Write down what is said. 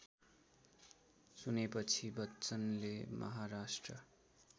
सुनेपछि बच्चनले महाराष्ट्र